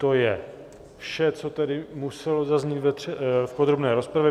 To je vše, co tedy muselo zaznít v podrobné rozpravě.